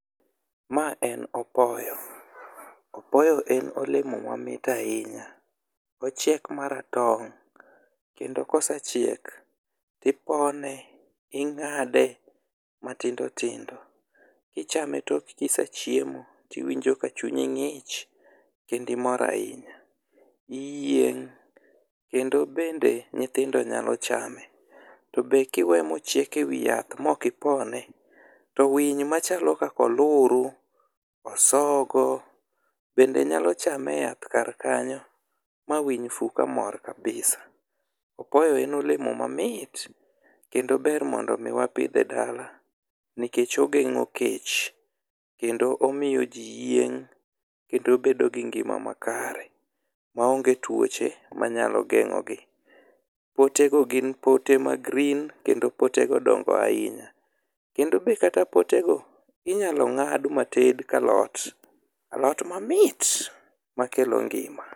Ma en opoyo, opoyo en olemo mamit ahinya ochiek maratong' kendo ka osechiek, ipone, ing'ade matindo tindo, ichame iyieng' tok ka isechiemo to iwinjo ka chunyi ng'ich kendo imor ahinya kendo bende nyithindo nyalo chame. Bende kiweyo mociek ewi yath maok ipone to winy machalo kaka oluru, osogo bende nyalo chame eyath kar kanyo ma winy fu kamor kabisa. Opoyo en olemo mamit kendo ber mondo wapidhe edale kendo omiyo ji yieng' kendo bedo gi ngima makare maonge tuoche manyalo geng'o gi. Potego gin pote ma green kendo potego dongo ahinya kendo be kata potego inyalo ng'ad mated kalot, alot mamit makelo ngima.